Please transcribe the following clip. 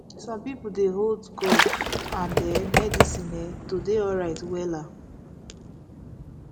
some people dey hold god and um medicine um to dey alright wella